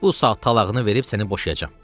Bu saat talağını verib səni boşayacam.